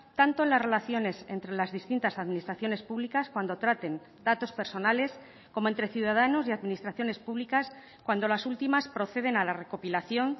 tanto en las relaciones entre las distintas administraciones públicas cuando traten datos personales como entre ciudadanos y administraciones públicas cuando las últimas proceden a la recopilación